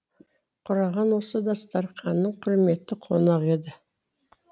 құрағаң осы дастарқанның құрметті қонағы еді